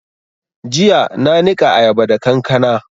Jiya na niƙa ayaba da kankana